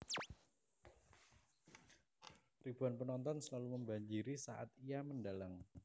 Ribuan penonton selalu membanjiri saat ia mendhalang